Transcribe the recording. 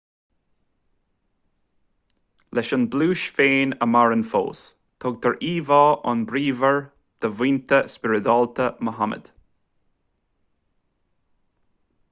leis an bpluais féin a maireann fós tugtar íomhá an-bhríomhar do mhianta spioradálta muhammad